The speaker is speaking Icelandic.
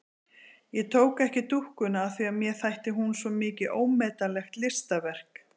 Ég tók ekki dúkkuna af því að mér þætti hún svo mikið ómetanlegt listaverk.